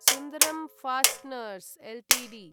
Sundram Fasteners Ltd